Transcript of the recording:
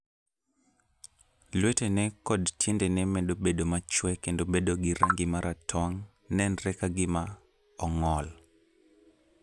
Lwetene koda tiendene medo bedo machwe kendo bedo gi rangi ma ratong, nenre ka gima ong'ol.